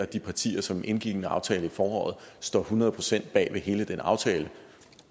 de partier som indgik en aftale i foråret står hundrede procent bag ved hele den aftale